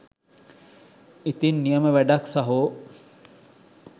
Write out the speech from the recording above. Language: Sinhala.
ඉතින් නියම වැඩක් සහෝ!